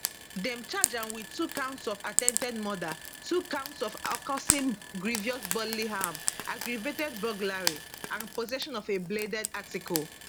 dem charge am wit two counts of attempted murder two counts of causing grievous bodily harm aggravated burglary and possession of a bladed article